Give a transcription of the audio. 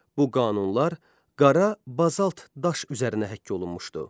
Bu qanunlar qara bazalt daş üzərinə həkk olunmuşdu.